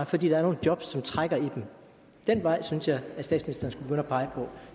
fordi der er nogle jobs som trækker i dem den vej synes jeg at statsministeren at pege på